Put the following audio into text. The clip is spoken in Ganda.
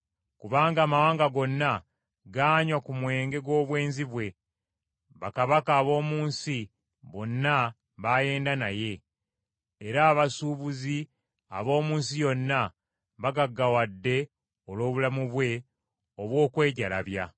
Kubanga amawanga gonna gaanywa ku mwenge gw’obwenzi bwe. Bakabaka ab’omu nsi bonna baayenda naye. Era abasuubuzi ab’omu nsi yonna bagaggawadde olw’obulamu bwe obw’okwejalabya.”